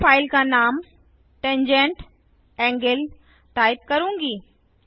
मैं फाइल का नाम tangent एंगल टाइप करुँगी